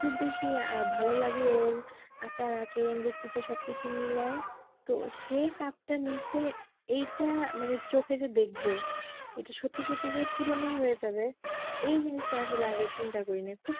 খুব বেশি আহ ভালো লাগে এর আচার আচরণ ব্যাক্তিত্ব সব কিছু মিলায়ে তো সে cup টা নিশ্চে এইটা মানে চোখে যে দেখবো এটা সত্যি সত্যি যে পূরণ ও হয়ে যাবে এই জিনিসটা যে আগে চিন্তা করে নি